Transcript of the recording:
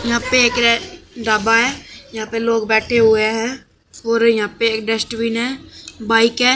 यहां पे एक रे ढाबा है यहां पे लोग बैठे हुए हैं और यहां पे एक डस्टबिन है बाइक है।